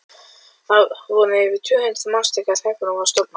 Þar voru yfir tvö hundruð manns þegar hreppurinn var stofnaður.